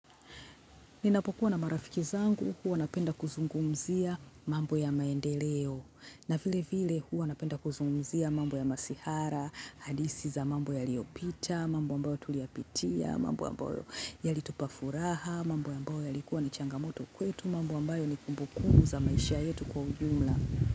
Ninapokuwa na marafiki zangu, huwa napenda kuzungumzia mambo ya maendeleo na vilevile huwa napenda kuzungumzia mambo ya masihara, hadithi za mambo yaliyopita, mambo ambayo tuliyapitia, mambo ambayo yalitupa furaha, mambo ambayo yalikuwa ni changamoto kwetu, mambo ambayo ni kumbukumbu za maisha yetu kwa ujumla.